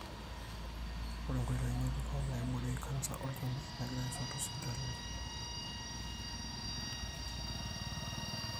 ore nkoitoi ngejuko naiborieki canser olchoni negirae aisum tosipitalini.